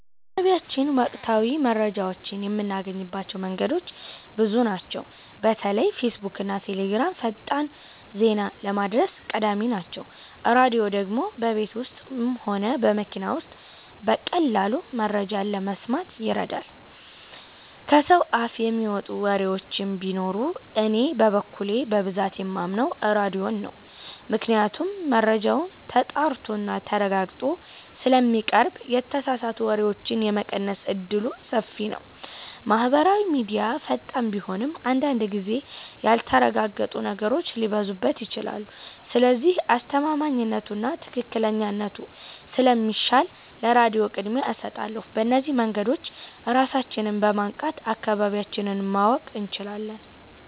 በአካባቢያችን ወቅታዊ መረጃዎችን የምናገኝባቸው መንገዶች ብዙ ናቸው። በተለይ ፌስቡክና ቴሌግራም ፈጣን ዜና ለማድረስ ቀዳሚ ናቸው። ራድዮ ደግሞ በቤት ውስጥም ሆነ በመኪና ውስጥ በቀላሉ መረጃ ለመስማት ይረዳል። ከሰው አፍ የሚመጡ ወሬዎችም ቢኖሩ እኔ በበኩሌ በብዛት የማምነው ራድዮን ነው ምክንያቱም መረጃው ተጣርቶና ተረጋግጦ ስለሚቀርብ የተሳሳቱ ወሬዎችን የመቀነስ እድሉ ሰፊ ነው። ማህበራዊ ሚድያ ፈጣን ቢሆንም አንዳንድ ጊዜ ያልተረጋገጡ ነገሮች ሊበዙበት ይችላሉ። ስለዚህ አስተማማኝነቱና ትክክለኛነቱ ስለሚሻል ለራድዮ ቅድሚያ እሰጣለሁ። በእነዚህ መንገዶች ራሳችንን በማንቃት አካባቢያችንን ማወቅ እንችላለን።